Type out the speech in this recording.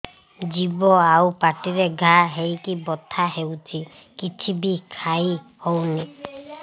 ଜିଭ ଆଉ ପାଟିରେ ଘା ହେଇକି ବଥା ହେଉଛି କିଛି ବି ଖାଇହଉନି